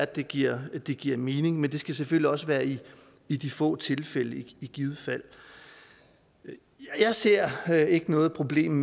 det giver det giver mening men det skal selvfølgelig også være i i de få tilfælde i givet fald jeg ser ser ikke noget problem